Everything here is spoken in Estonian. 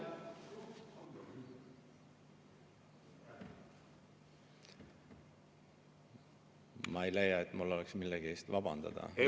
Ma ei leia, et mul oleks millegi eest vabandada.